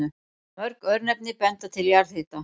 Mörg örnefni benda til jarðhita.